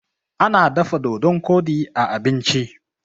ana dafa dodon Kodi a abinci